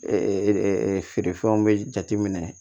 feerefɛnw bɛ jate minɛ